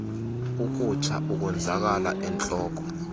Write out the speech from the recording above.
ukutsha ukonzakala entloko